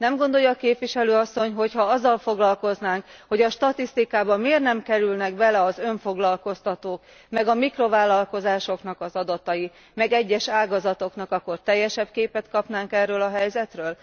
Nem gondolja a Képviselő asszony, hogyha azzal foglalkoznánk, hogy a statisztikába miért nem kerülnek bele az önfoglalkoztatók, meg a mikrovállalkozásoknak az adatai, meg egyes ágazatoké, akkor teljesebb képet kapnánk erről a helyzetről?